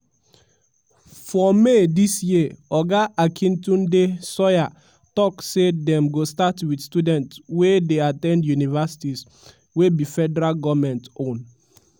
plenty nigerians still get questions about dis new initiative wey just start and bbc pidgin try to answer some of dem for for dis tori.